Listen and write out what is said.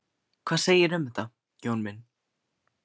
Hvað segirðu um þetta, Jón minn?